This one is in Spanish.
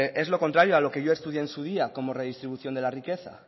es lo contrario a lo que yo estudié en su día como redistribución de la riqueza